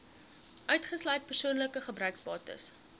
uitgesluit persoonlike gebruiksbates